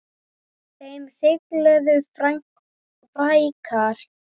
Þeim siðlegu fækkar.